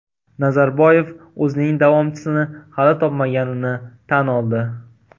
Nazarboyev o‘zining davomchisini hali topmaganini tan oldi.